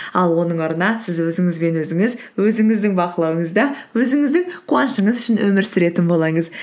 ал оның орнына сіз өзіңізбен өзіңіз өзіңіздің бақылауыңызда өзіңіздің қуанышыңыз үшін өмір сүретін болыңыз